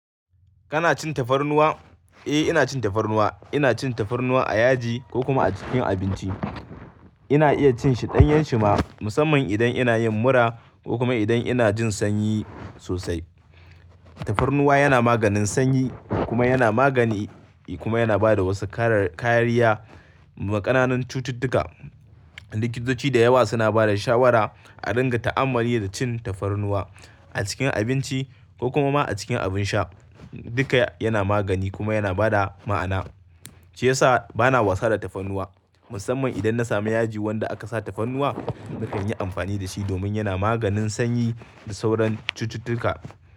Kana cin tafarnuwa? Eh, ina cin tafarnuwa. Ina cin tafarnuwa a yaji ko kuma a cikin abinci. Ina iya cin shi danyan shi ma musamman idan ina yin mura ko kuma idan ina jin sanyi sosai. Tafarnuwa yana maganin sanyi kuma yana magani kuma yana bada wasu karar-kariya ma ƙananan cututtuka. Likitoci da yawa suna bada shawara a dinga ta'ammali da cin tafarnuwa a cikin abinci ko kuma ma a cikin abin sha. Duka yana magani kuma yana bada ma'ana. Shi yasa bana wasa da tafarnuwa musamman idan na sami yaji wanda aka sa tafarnuwa. Nakan yi amfani da shi domin yana maganin sanyi da sauran cututtuka.